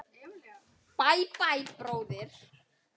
Bæ, bæ, bróðir.